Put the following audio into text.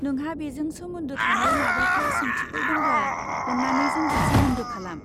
नोंहा बेजों सोमोन्दो थानाय माबाफोर सोंथिफोर दंब्ला अन्नानै जोंजों सोमोन्दो खालाम।